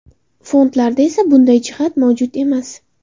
Fondlarda esa bunday jihat mavjud emas.